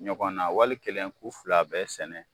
Ɲɔgɔn na wali kelen k'u fila bɛɛ sɛnɛ